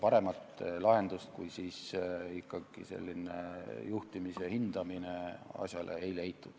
Paremat lahendust kui selline juhtimise hindamine ei leitud.